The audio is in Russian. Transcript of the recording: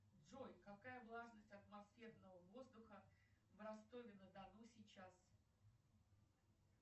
джой какая влажность атмосферного воздуха в ростове на дону сейчас